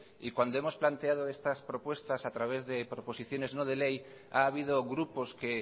y cuando hemos planteado estas propuestas a través proposiciones no de ley ha habido grupos que